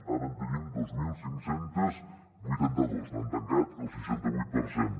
ara en tenim dos mil cinc cents i vuitanta dos han tancat el seixanta vuit per cent